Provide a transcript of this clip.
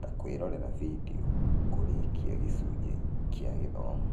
(ta, kwĩrorera video, kũrĩkia gĩcunjĩ kĩa gĩthomo).